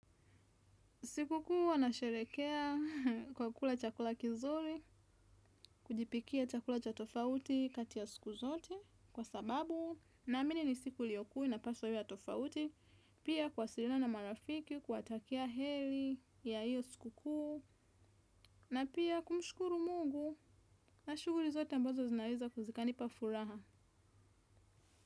Siku kuu wanasherekea kwa kukula chakula kizuri, kujipikia chakula cha tofauti kati ya siku zote, kwa sababu, naamini ni siku iliyokuu na inapaswa iwe ya tofauti, pia kuwasiliana na marafiki, kuwatakia heri ya iyo siku kuu, na pia kumshukuru mungu, na shuguri zote ambazo zinaweza zika nipa furaha.